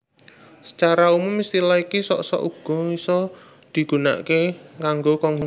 Sacara umum istilah iki sok sok uga bisa dipigunakaké kanggo Konghucu